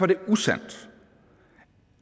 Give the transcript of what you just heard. det usandt